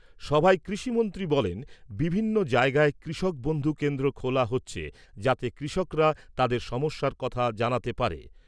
সভায় কৃষিমন্ত্রী বলেন, বিভিন্ন জায়গায় কৃষক বন্ধু কেন্দ্র খোলা হচ্ছে যাতে কৃষকরা তাদের সমস্যার কথা জানাতে পারে।